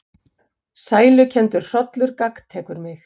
Sælukenndur hrollur gagntekur mig.